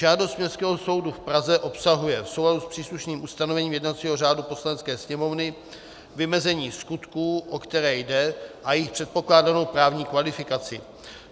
Žádost Městského soudu v Praze obsahuje v souladu s příslušným ustanovením jednacího řádu Poslanecké sněmovny vymezení skutků, o které jde, a jejich předpokládanou právní kvalifikaci.